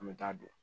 An bɛ taa don